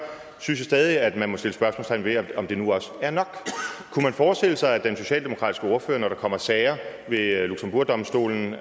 synes jeg stadig at man må sætte spørgsmålstegn ved om det nu også er nok kunne man forestille sig at den socialdemokratiske ordfører når der kommer sager ved eu domstolen